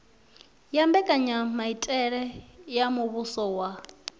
wa mbekanyamaitele ya muvhuso wa